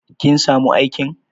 Kin samu aikin?